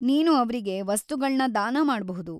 ನೀನು ಅವ್ರಿಗೆ ವಸ್ತುಗಳ್ನ ದಾನ ಮಾಡ್ಬಹುದು.